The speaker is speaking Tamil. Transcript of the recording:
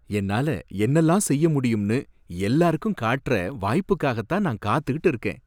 என்னால என்னல்லாம் செய்ய முடியும்னு எல்லாருக்கும் காட்டுற வாய்ப்புக்காகத்தான் நான் காத்துக்கிட்டு இருக்கேன்.